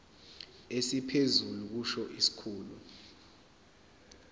esiphezulu kusho isikhulu